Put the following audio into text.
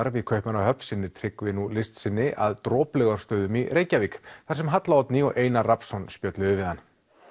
í Kaupmannahöfn sinnir Tryggvi nú list sinni að Droplaugarstöðum í Reykjavík þar sem Halla Oddný og Einar Rafnsson spjölluðu við hann